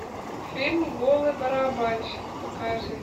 фильм голый барабанщик покажи